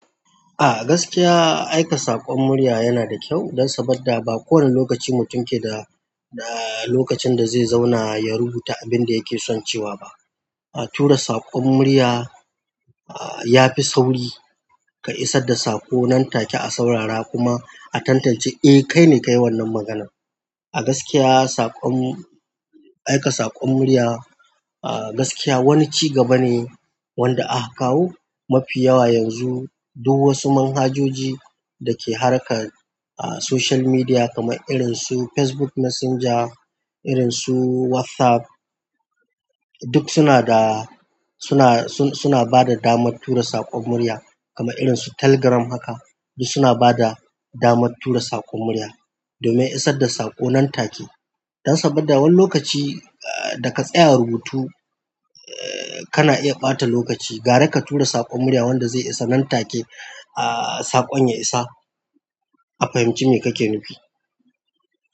A gaskiya aika saƙon murya yana da kyau, dan saboda ba kowane lokaci mutum ke da, da lokacin da zai zauna ya rubuta abin da yake son cewa ba. Tura saƙon murya, ya fi sauri ka isar da saƙo nan take a saurara kuma a tantance eh kai ne kayi wannan maganan. A gaskiya saƙon, aika saƙon murya a gaskiya wani ci gaba ne wanda aka kawo mafi yawa yanzu duk wasu manhajoji da ke harka a social media kamar irin su Facebook Messenger, irin su WhatsApp duk suna da, suna, suna bada damar tura saƙon murya kamar irin su Telegram haka duk suna bada damar tura saƙon murya domin a isar da saƙo nan take. Dan saboda wani lokaci daga tsayar rubutu kana iya ɓata lokaci, gare ka tura saƙon murya wanda zai isa nan take a saƙon ya isa a fahimci me kake nufi.